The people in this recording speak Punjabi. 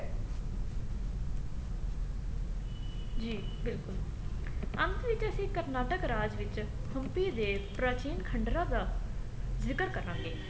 ਜੀ ਬਿਲਕੁਲ ਅੰਤ ਵਿੱਚ ਅਸੀਂ ਕਰਨਾਟਕ ਰਾਜ ਵਿੱਚ ਹੁਮਪੀ ਦੇ ਪ੍ਰਾਚੀਨ ਖੰਡਰਾ ਦਾ ਜਿਕਰ ਕਰਾਂਗੇ